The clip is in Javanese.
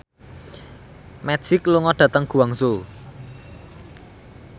Magic lunga dhateng Guangzhou